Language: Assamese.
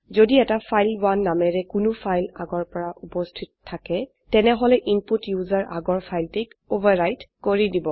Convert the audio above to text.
যদি এটা ফাইল1 নামেৰে কোনো ফাইল আগৰ পৰা উপস্হিত থাকে তেনেহলে ইনপুট ইউজাৰ আগৰ ফাইলটিক ওভাৰ ৰাইট কৰি দিব